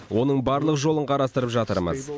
оның барлық жолын қарастырып жатырмыз